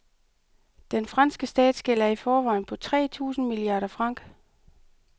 Den franske statsgæld er i forvejen på tre tusind milliarder francs.